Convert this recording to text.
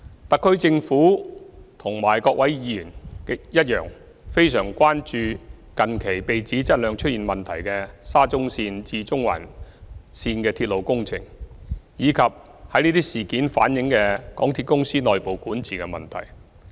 特區政府和各位議員一樣，非常關注近期被指質量出現問題的沙田至中環線鐵路工程，以及從這些事件反映的港鐵公司內部管治問題。